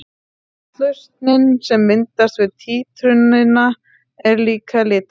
Saltlausnin sem myndast við títrunina er líka litarlaus.